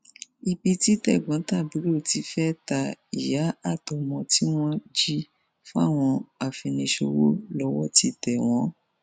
ibi tí tẹgbọntàbúrò ti fẹẹ ta ìyá àtọmọ tí wọn jí fáwọn afiniṣòwò lọwọ ti tẹ wọn